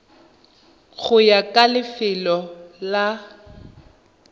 go ya ka lefelo la